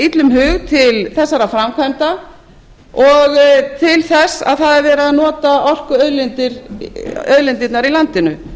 illum hug til þessara framkvæmda og til þess að það er verið að nota orkuauðlindirnar í landinu